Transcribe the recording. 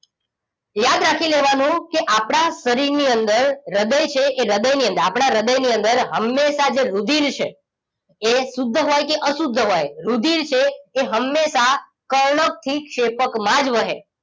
યાદ રાખી લેવાનું કે આપણા શરીર ની અંદર હ્રદય છે એ હ્રદય ની અંદર આપણા હ્રદય ની અંદર હમેશા જે રુધિર છે એ શુદ્ર હોય કે અશુદ્ધ હોય રુધિર છે એ હમેશા કર્ણકથીક્ષેપકમાં જ વહે